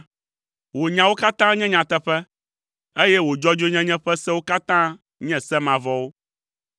Wò nyawo katã nye nyateƒe, eye wò dzɔdzɔenyenye ƒe sewo katã nye se mavɔwo.